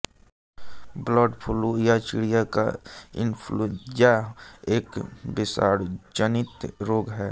bird flu या चिड़ियों का इन्प्लुएन्जा एक विषाणुजनित रोग है